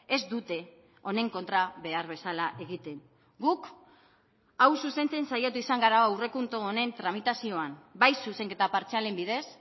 ez dute honen kontra behar bezala egiten guk hau zuzentzen saiatu izan gara aurrekontu honen tramitazioan bai zuzenketa partzialen bidez